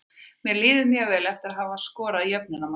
Mér líður mjög vel eftir að hafa skorað jöfnunarmarkið.